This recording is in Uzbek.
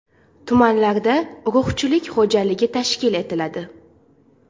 Tumanlarda urug‘chilik xo‘jaligi tashkil etiladi.